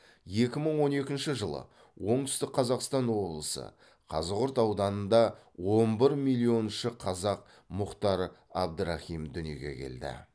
екі мың он екінші жылы оңтүстік қазақстан облысы қазығұрт ауданында он бір миллионыншы қазақ мұхтар абдрахим дүниеге келді